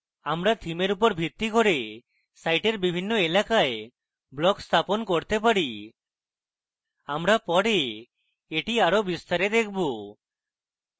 আমরা থিমের উপর ভিত্তি করে সাইটের বিভিন্ন এলাকায় blocks স্থাপন করতে পারি আমরা পরে এটি আরো বিস্তারে দেখবো